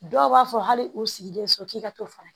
Dɔw b'a fɔ hali u sigilen so k'i ka t'o fana